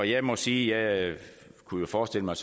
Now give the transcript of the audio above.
jeg må sige at jeg kunne forestille mig